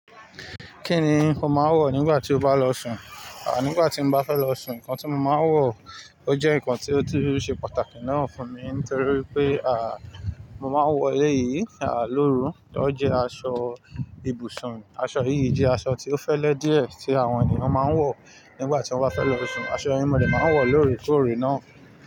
Kí ni o máa ń wọ̀ nígbà tí o bá lọ sùn? Nígbà tí n bá fẹ́ lọ sùn nǹkan tí mo máa ń wọ̀ ó jẹ́ nǹkan tí ó tún ṣe pàtàkì náà fún mi nítorí wipé mo máa ń wọ̀ éleyìí lóru. Ó jẹ́ aṣọ ibùsùn. Aṣọ yìí jẹ́ aṣọ tí ó fẹ́lẹ́ díẹ̀ tí àwọn ènìyàn máa ń wọ̀ nígbà tí wọ́n bá fẹ́ lọ sùn. Aṣọ yi mò de máa ń wọ̀ lóorekóòrè náà.